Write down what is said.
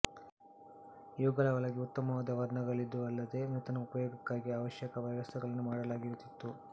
ಇವುಗಳ ಒಳಗೆ ಉತ್ತಮ ವರ್ಣಗಳಿದ್ದುವಲ್ಲದೆ ಮೃತನ ಉಪಯೋಗಕ್ಕಾಗಿ ಅವಶ್ಯಕ ವ್ಯವಸ್ಥೆಗಳನ್ನೂ ಮಾಡಲಾಗಿರುತ್ತಿತ್ತು